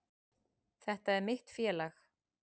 Þetta er mitt félag.